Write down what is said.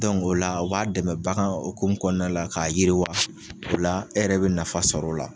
o la o b'a dɛmɛ bagan hukumu kɔnɔna la k'a yiriwa o la e yɛrɛ bɛ nafa sɔr'o la.